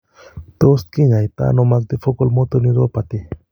Tot kinyaaitano multifocal motor neuropathy